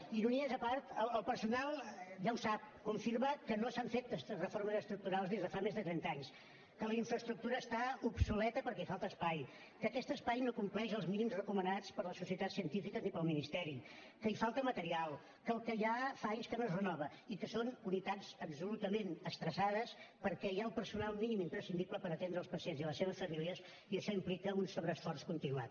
ironies a part el personal ja ho sap confirma que no s’han fet reformes estructurals des de fa més de trenta anys que la infraestructura està obsoleta perquè hi falta espai que aquest espai no compleix els mínims recomanats per les societats científiques ni pel ministeri que hi falta material que el que hi ha fa anys que no es renova i que són unitats absolutament estressades perquè hi ha el personal mínim imprescindible per atendre els pacients i les seves famílies i això implica un sobreesforç continuat